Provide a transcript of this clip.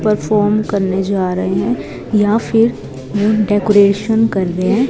Perform करने जा रहे हैं या फिर डेकोरेशन कर रहे है।